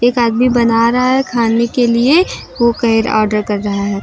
एक आदमी बना रहा है खाने के लिए। ओ ऑर्डर कर रहा है।